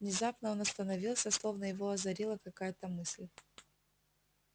внезапно он остановился словно его озарила какая-то мысль